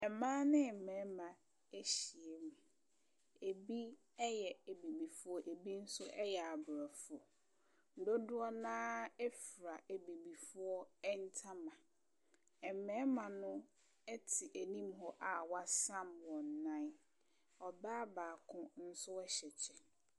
Mmaa me mmɛma ahyia mu. Ebi ɛyɛ abibifoɔ abi ɛyɛ abrɔfo. Dodoɔ naa ɛfra abibifoɔ ɛntama. Ɛma no ti anim hɔ a w'asam wɔn nan. Ɔbaa baako nso ɛhyɛ kyɛ.